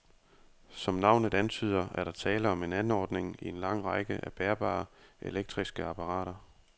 Som navnet antyder, er der tale om en anordning i en lang række af bærbare elektriske apparater.